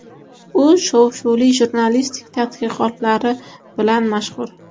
U shov-shuvli jurnalistik tadqiqotlari bilan mashhur.